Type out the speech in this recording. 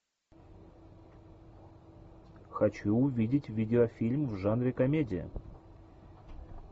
хочу увидеть видеофильм в жанре комедия